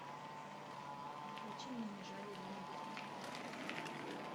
включи мне не жаль ирины билык